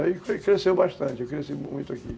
Aí cresceu bastante, eu cresci muito aqui.